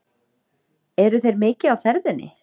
Eru þeir mikið á ferðinni?